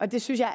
og det synes jeg